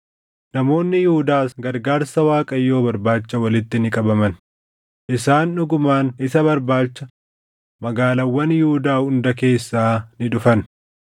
Namoonni Yihuudaas gargaarsa Waaqayyoo barbaacha walitti ni qabaman; isaan dhugumaan isa barbaacha magaalaawwan Yihuudaa hunda keessaa ni dhufan.